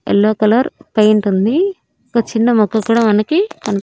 yellow colour పెయింటుంది ఒక చిన్న మొక్క కూడా మనకి కన్పి--